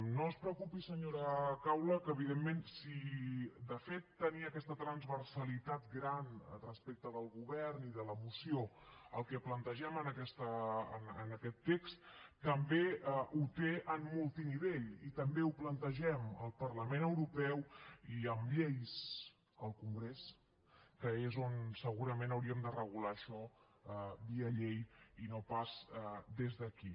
no es preocupi senyora caula que evidentment si de fet tenia aquesta transversalitat gran respecte del govern i de la moció el que plantegem en aquest test també la té en multinivell i també ho plantegem al parlament europeu i amb lleis al congrés que és on segurament hauríem de regular això via llei i no pas des d’aquí